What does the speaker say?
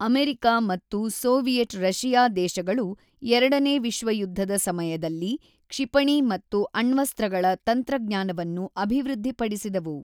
America ಮತ್ತು Soviet Russia ದೇಶಗಳು ಎರಡನೇ ವಿಶ್ವಯುಧ್ಧದ ಸಮಯದಲ್ಲಿ ಕ್ಷಿಪಣಿ ಮತ್ತು ಅಣ್ವಸ್ತ್ರಗಳ ತಂತ್ರಜ್ಞಾನವನ್ನು ಅಭಿವೃದ್ಧಿಪಡಿಸಿದವು.